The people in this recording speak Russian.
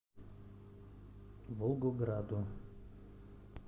волгограду